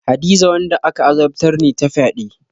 Hadiza wanda aka azabtar ne ta fyade.